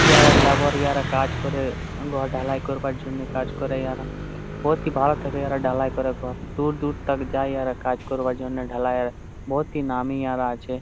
ইহারা লেবার । ইহারা কাজ করে ঘর ঢালাই করবার জন্যে কাজ করে ইহারা। বহতহি ভালো থেকে ইহারা ঢালাই করে ঘর। দূর দূর তাক যায় ইহারা কাজ করবার জন্যে ঢালাইয়ের। বহতহি নামি ইহারা আছে।